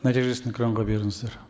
нәтижесін экранға беріңіздер